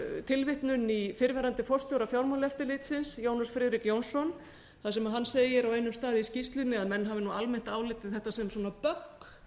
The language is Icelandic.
tilvitnun í fyrrverandi forstjóra fjármálaeftirlitsins jónas friðrik jónsson þar sem hann segir á einum stað í skýrslunni að menn hafi almennt álitið þetta sem bögg